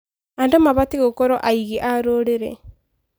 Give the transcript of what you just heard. Andũ mabatiĩ gũkorwo aigi a rũrĩrĩ.